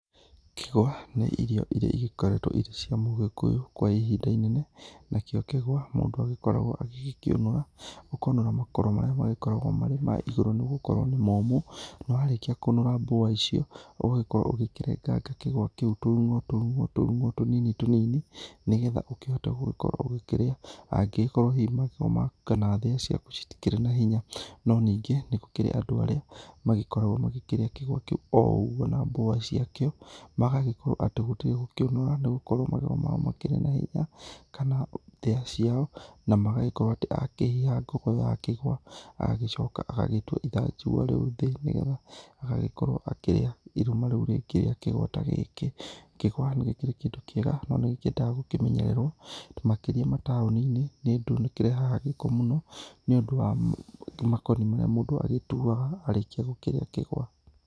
Kĩgwa, nĩ irio iria igĩkoretwo irĩ cia Mũ-Gĩkũyũ kwa ihinda inene. Nakĩo kĩgwa, mũndũ agĩkoragwo agĩgĩkĩũnũra. Ũkonũra makoro marĩa magĩkoragwo marĩ ma igũrũ nĩgũkorwo nĩ momũ, nawarĩkia kũnũra mbũa icio, ũgagĩkorwo ũgĩkĩrenganga kĩgwa kĩu tũrung'o tũrung'o tũrung'o tũnini tũnini nĩgetha ũkihote gũgĩkorwo ũgĩkĩrĩa, angĩgĩkorwo hihi magego maku kana thĩa ciaku citikĩrĩ na hinya. No ningĩ nĩgũkĩrĩ andũ arĩa magĩkoragwo magĩkĩrĩa kĩgwa kĩu o ũguo na mbũa ciakio, magagĩkorwo atĩ gũtirĩ gũkĩũnũra, nĩgũkorwo magego mao makĩrĩ na hinya, kana thĩa ciao. Namagagĩkorwo atĩ akĩhiha ngogoyo ya kĩgwa, agagĩcoka agagĩtua ithanjĩgua rĩu thĩĩ, nĩgetha agagĩkorwo akĩrĩa irũma rĩu rĩngĩ rĩa kigwa ta gĩkĩ. Kĩgwa gĩkĩrĩ kĩndũ kĩega, no nĩgĩkĩendaga gũkĩmenyererwo makĩria mataoninĩ, nĩũndũ nĩkĩrehaga gĩko mũno, nĩũndũ wa makoni marĩa mũndũ agĩtuaga, arĩkia gũkĩrĩa kĩgwa.